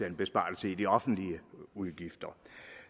en besparelse i de offentlige udgifter